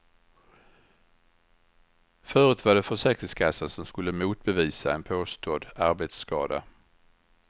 Förut var det försäkringskassan som skulle motbevisa en påstådd arbetsskada.